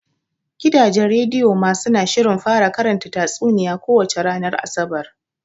Gidajen rediyo ma suna shirin fara karanta tatsuniya ko wace ranar Asabar.